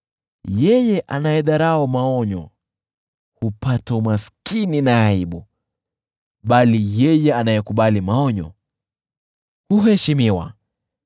Yeye anayedharau maonyo hupata umaskini na aibu, bali yeye anayekubali maonyo huheshimiwa.